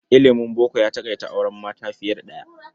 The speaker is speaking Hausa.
Ilimin boko ya taƙaita auren mata fiye da ɗaya.